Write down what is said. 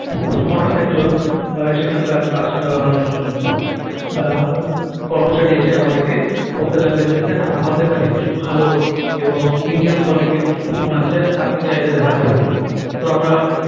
হঠাৎ একজন আহ সেখান কার কাস আহ উম আহ কর্মচারি এসে আমাদের কে বলতে লাগলেন যে sir আমাদের কাছে কিছু ভালো এবং premium quality র কিছু ফোন আছে আপনি চাইলে দেখাতে পারি তো আমরা